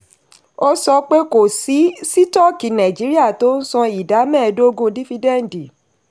ó sọ pé kò sí sítọ́ọ̀kì nàìjíríà tó ń san ìdá mẹ́ẹ̀dógún dífídẹ́ǹdì.